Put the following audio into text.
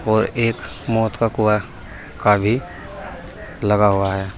और एक मौत का कुआं का भी लगा हुआ है।